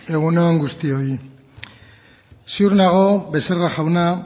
egun on guztioi ziur nago becerra jauna